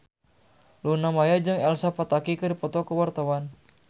Luna Maya jeung Elsa Pataky keur dipoto ku wartawan